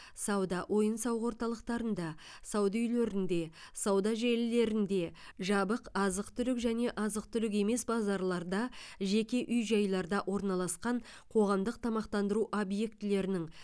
сауда ойын сауық орталықтарында сауда үйлерінде сауда желілерінде жабық азық түлік және азық түлік емес базарларда жеке үй жайларда орналасқан қоғамдық тамақтандыру объектілерінің